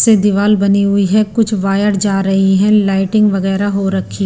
से दीवाल बनी हुई है कुछ वायर जा रही है लाइटिंग वगैरह हो रखी--